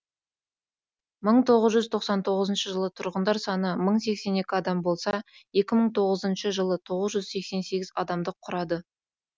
мың тоғыз жүз тоқсан тоғызыншы жылы тұрғындар саны мың сексен екі адам болса екі мың тоғызыншы жылы тоғыз жүз сексен сегіз адамды құрады